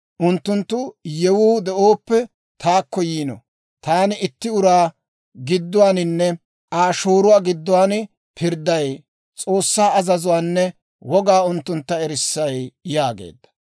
Unttunttoo yewuu de'ooppe taakko yiino; taani itti uraa gidduwaaninne Aa shooruwaa gidduwaan pirdday; S'oossaa azazuwaanne wogaa unttuntta erissay» yaageedda.